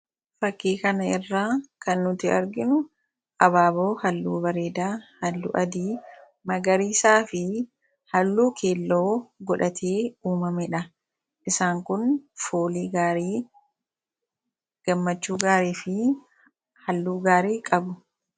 fakkii kana irra kan nuti arginu abaaboo halluu bareedaa, halluu adii ,magarii isaa fi halluu keelloo godhatee uumamee dha. isaan kun foolii gaarii, gammachuu gaarii fi halluu gaarii qabu